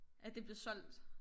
At det blevet solgt